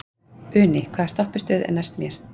Uni, hvaða stoppistöð er næst mér?